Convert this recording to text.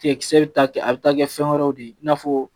Tigɛ kisɛ bɛ ta a bɛ taa kɛ fɛn wɛrɛw de ye i n'a fɔ